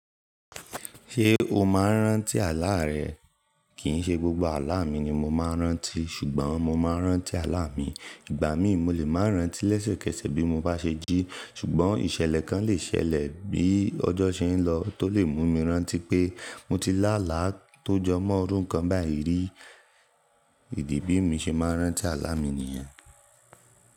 Ṣé o máa ń rántí àlá rẹ? Kì í ṣe gbogbo àlá mi ni mo máa ń rántí, ṣùgbọ́n mo máa ń rántí àlá mi. Ìgbà mí mo lè máa rántí lẹ́sẹ̀kẹsẹ̀ bí mo bá ṣe jí, ṣùgbọ́n ìṣẹ̀lẹ̀ kan lè ṣẹlẹ̀ bí ọjọ́ ṣe ń lọ tó lè mú mi rántí pé mo ti lá àlá tó jọ mọ́n irún kan báyìí rí. Idi bí mo ṣe máa ń rántí àlá mi nìyẹn.